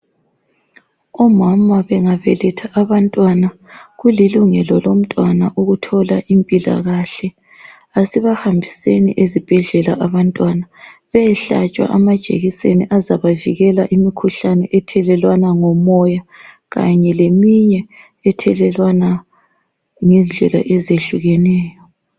Omama bengabeletha abamntwana kulilungelo lomntwana ukuthola impilakahle. Asibahambiseni ezibhendlela abantwana beyehlatshwa amajekiseni azabavikela imikhuhlane ethelelwana ngomoya kanye leminye ethelelwana ngendlela ezehlukeneyo.